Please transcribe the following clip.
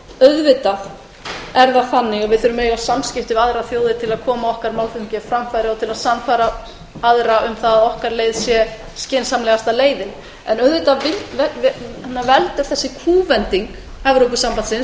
auðvitað þurfum við að eiga samskipti við aðrar þjóðir til að koma málflutningi okkar á framfæri og til að sannfæra aðra um að okkar leið sé skynsamlegasta leiðin þessi kúvending evrópusambandsins